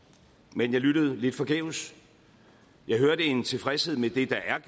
men jeg lyttede lidt forgæves jeg hørte en tilfredshed med det der